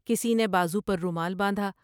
کسی نے بازو پر رومال باندھا ۔